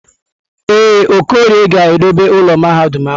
Ee, Okorie ga-edobe ụlọ mahadum ahụ.